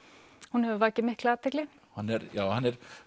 hún hefur vakið mikla athygli hann er